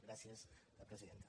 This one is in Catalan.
gràcies presidenta